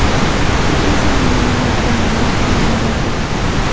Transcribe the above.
Siz esa meni o‘ylab joynamoz tomon yurasiz.